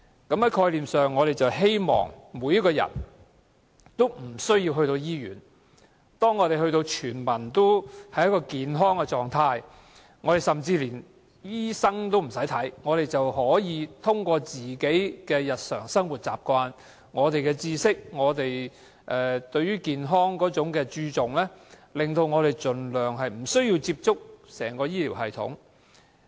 在概念上，我們希望市民無需接受醫院治療，希望全民均達到健康的狀態，甚至不用看醫生，可以通過自己的日常生活習慣、知識、對健康的注重、令自己盡量不需要接觸整個醫療系統。